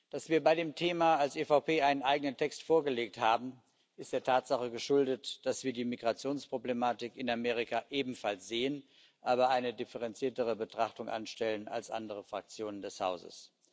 Dass wir bei dem Thema als EVP einen eigenen Text vorgelegt haben, ist der Tatsache geschuldet, dass wir die Migrationsproblematik in Amerika ebenfalls sehen, aber eine differenziertere Betrachtung anstellen als andere Fraktionen des Hauses.